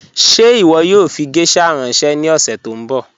Ṣẹ iwọ yoo fi gẹ̀shà ranṣẹ ni ọ̀ṣẹ̀ tó nbọ?